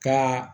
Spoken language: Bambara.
Ka